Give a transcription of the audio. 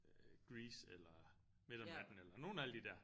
Øh Grease eller Midt om natten eller nogen af alle de der